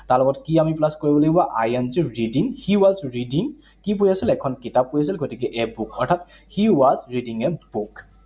তাৰ লগত কি আমি plus কৰিব লাগিব? I N G, reading, he was reading, কি পঢ়ি আছিলে? এখন কিতাপ পঢ়ি আছিল। গতিকে a book, অৰ্থাৎ he was reading a book.